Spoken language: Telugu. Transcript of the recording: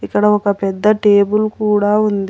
ఇక్కడ ఒక పెద్ద టేబుల్ కూడా ఉంది.